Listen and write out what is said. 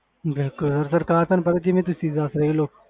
ਬਿਲਕੁਲ ਸਰਕਾਰ ਤੁਹਾਨੂੰ ਪਤਾ ਜਿਵੇਂ ਤੁਸੀਂ ਦੱਸ ਰਹੇ ਹੋ ਲੋਕ,